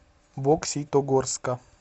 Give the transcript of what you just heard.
бокситогорска